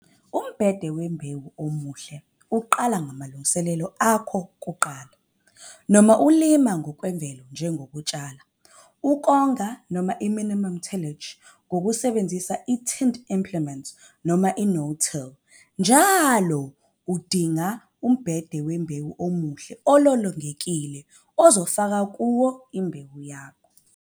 Umbhede wembewu omuhle uqala ngamalungiselelo akho okuqala, noma ulima ngokwemvelo njengokutshala, ukonga noma i-minimum tillage ngokusebenzisa i-tined implements, noma i-no-till. Njalo udinga, umbhede wembewu omuhle nololongekile ozofaka kuyo imbewu yakho.